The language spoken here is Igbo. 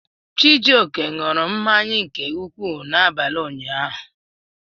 Chijioke ṅụrụ mmanya nke ukwuu n'abalị ụnyaahụ